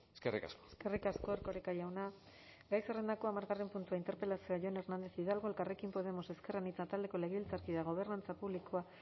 eskerrik asko eskerrik asko erkoreka jauna gai zerrendako hamargarren puntua interpelazioa jon hernández hidalgo elkarrekin podemos ezker anitza taldeko legebiltzarkideak gobernantza publiko